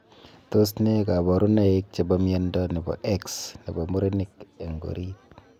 Tos ne kabarunoik chepoo miondoo nepoo X nepoo murenik eng oriit?